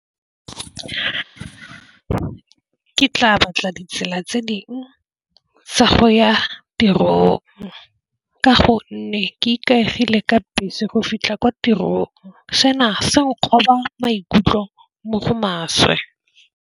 Ke tla batla ditsela tse ding tsa go ya tirong, ka gonne ke ikaegile ka bese go fitlha kwa tirong sona se nkgoba maikutlo mo go maswe.